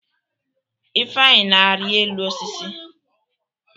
Ifenyị na-arị elu osisi.